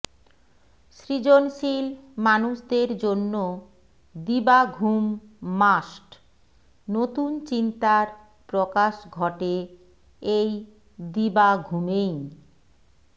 সৃজনশীল মানুষদের জন্য দিবা ঘুম মাস্ট নতুন চিন্তার প্রকাশ ঘটে এই দিবা ঘুমেই